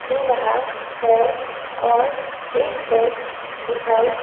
दे रहा है और एक बेंच दिखाई--